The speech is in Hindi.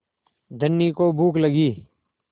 धनी को भूख लगी